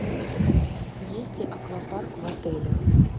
есть ли аквапарк в отеле